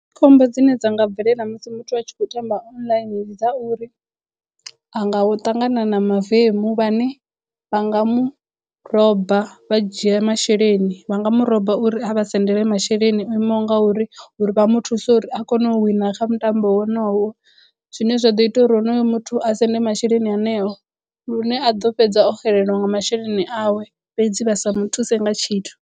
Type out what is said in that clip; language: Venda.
Khombo dzine dza nga bvelela musi muthu a tshi khou tamba online ndi dza uri a nga ṱangana na mavemu vhane vha nga muroba vha dzhia masheleni vha nga muroba uri a vha sendele masheleni o imaho nga uri vha mu thuse uri a kone u wina kha mutambo wonowo zwine zwa ḓo ita uri honoyo muthu a sende masheleni aneo lune a ḓo fhedza o xelelwa nga masheleni awe fhedzi vha sa muthuse nga tshithu.